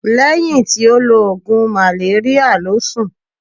Lehin ti o lo ogun maleria lo sun.